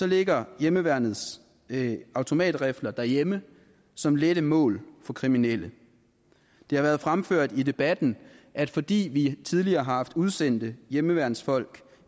ligger hjemmeværnets automatrifler derhjemme som lette mål for kriminelle det har været fremført i debatten at fordi vi tidligere har haft udsendte hjemmeværnsfolk